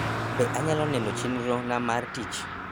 be anyalo neno chenro na mar tich